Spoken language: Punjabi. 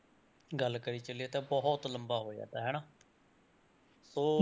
ਗੱਲ ਕਰੀ ਚੱਲੀਏ ਤਾਂ ਬਹੁਤ ਲੰਬਾ ਹੋ ਜਾਂਦਾ ਹਨਾ ਸੋ,